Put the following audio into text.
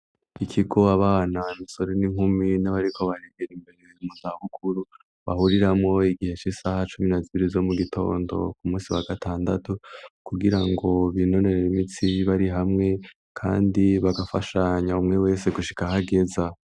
Ikigo abana misore n'inkumi n'abariko baregera imbere mu zabukuru bahuriramo igihesh isaha cumi nazibiri zo mu gitondo ku munsi wa gatandatu kugira ngo binonerero imitsi bari hamwe kandi bagafashanya umwe wese gushika ahagezaho.